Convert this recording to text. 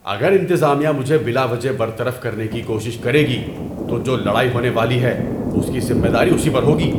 اگر انتظامیہ مجھے بلا وجہ برطرف کرنے کی کوشش کرے گی تو جو لڑائی ہونے والی ہے اس کی ذمہ داری اسی پر ہوگی۔